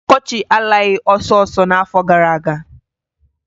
Ọkọchị alaghị ọsọọsọ n'afọ gara aga.